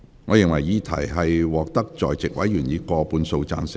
我認為議題獲得在席委員以過半數贊成。